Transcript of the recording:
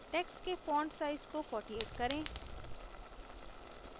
text के font size को 48 करें